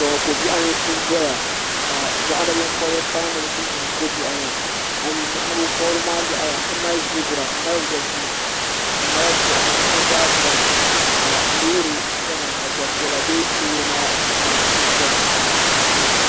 kpɛ ŋo ko biɛɣu n doya ka moɣani binkobiri kana ni bi ti nyu ko biɛɣu maa moɣani binkobiri maa yaɣaya ti mali zibira n mali wobigu n mali gbuɣuma bi zaa biɛni ka loori chɛna ka Gbanpiɛli bɛ loori maa puuni n chɛna